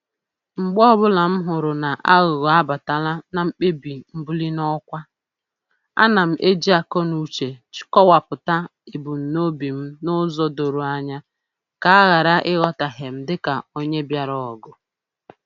Mgbe ọbụla m hụrụ n'aghụghọ abatala na mkpebi mbuli n'ọkwa, ana m eji akọnuche kọwapụta ebumnobi m n'ụzọ doro anya ka a ghara ịghọtahie m dịka onye bịara ọgụ